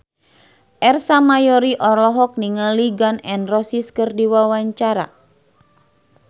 Ersa Mayori olohok ningali Gun N Roses keur diwawancara